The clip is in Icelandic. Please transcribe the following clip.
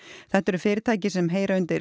þetta eru fyrirtæki sem heyra undir